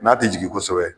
N'a tɛ jigin kosɛbɛ